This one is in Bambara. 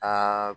Aa